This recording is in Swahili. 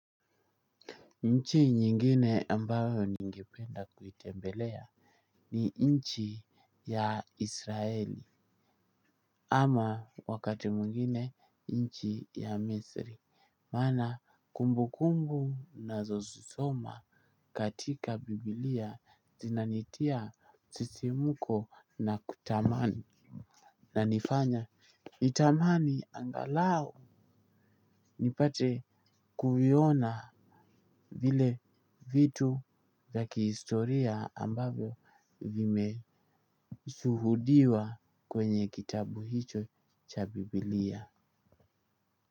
Nchi nyingine ambayo ningependa kuitembelea ni nchi ya israeli ama wakati mwingine nchi ya misri maana kumbu kumbu nazosisoma katika Biblia zinanitia sisimuko na kutamani nanifanya nitamani angalau nipate kuviona vile vitu ya kihistoria ambavyo vimeshuhudiwa kwenye kitabu hicho cha Biblia.